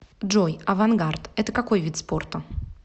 джой авангард это какой вид спорта